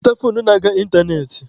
Zụta foonu na-aga ịntanetị!